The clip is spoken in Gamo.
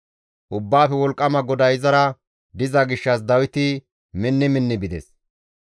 Ubbaafe Wolqqama GODAY izara diza gishshas Dawiti minni minni bides.